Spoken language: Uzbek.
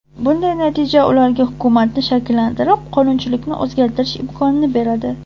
Bunday natija ularga hukumatni shakllantirib, qonunchilikni o‘zgartirish imkonini beradi.